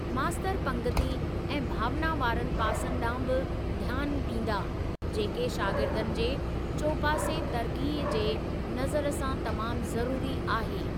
मास्तर पंगिती ऐं भावना वारनि पासनि ॾांहु बि ध्यानु ॾींदा, जेके शागिर्दनि जे चोपासे तरक़्क़ी जे नज़र सां तमामु ज़रूरी आहे।